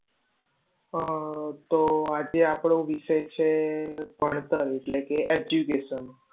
આહ તો આજે આપણો વિષય છે ભણતર, એટલે કે education